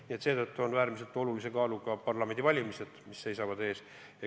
Nii et seetõttu on äärmiselt olulise kaaluga parlamendivalimised, mis seal ees seisavad.